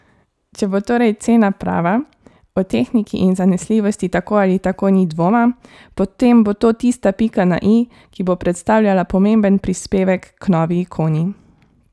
Če bo torej cena prava, o tehniki in zanesljivosti tako ali tako ni dvoma, potem bo to tista pika na i, ki bo predstavljala pomemben prispevek k novi ikoni.